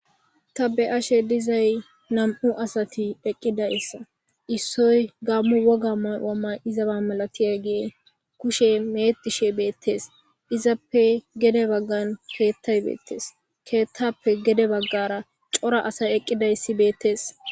Ta beashezay nam'u asati eqidayisa issoy gamo woga ma'ua maizayaba malatiyage kushe meatishe betes izappe gede bagan keeththay betes keeththeppe gede bagara cora asay eqidaysi betes.